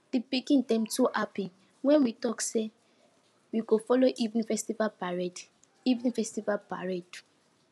di pikin dem too happy when we talk say we go follow evening festival parade evening festival parade